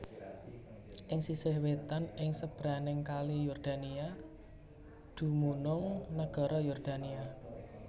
Ing sisih wétan ing sebrangé Kali Yordania dumunung nagara Yordania